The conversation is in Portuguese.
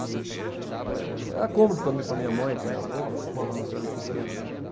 Hum. É era cômodo também para minha mãe, para minha avó morar numa cidade pequena, né?